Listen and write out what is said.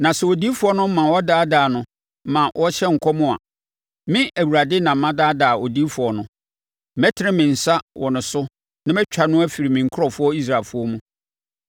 “ ‘Na sɛ odiyifoɔ no ma wɔdaadaa no ma ɔhyɛ nkɔm a, me Awurade na madaadaa odiyifoɔ no, mɛtene me nsa wɔ ne so na matwa no afiri me nkurɔfoɔ Israelfoɔ mu.